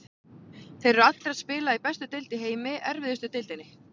Þeir eru allir að spila í bestu deild í heimi, erfiðustu deildinni.